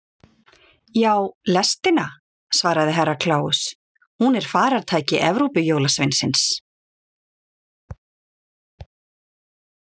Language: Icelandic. Já, lestina, svaraði Herra Kláus, hún er faratæki Evrópujólasveinsins.